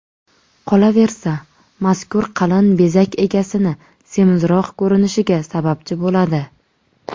Qolaversa, mazkur qalin bezak egasini semizroq ko‘rinishiga sababchi bo‘ladi.